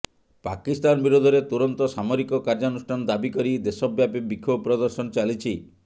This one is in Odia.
ପାକିସ୍ତାନ ବିରୋଧରେ ତୁରନ୍ତ ସାମରିକ କାର୍ଯ୍ୟାନୁଷ୍ଠାନ ଦାବି କରି ଦେଶବ୍ୟାପୀ ବିକ୍ଷୋଭ ପ୍ରଦର୍ଶନ ଚାଲିଛି